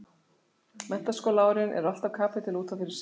Menntaskólaárin eru alltaf kapítuli út af fyrir sig.